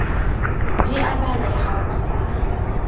di a baleha o sa